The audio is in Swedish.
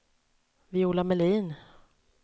Viola Melin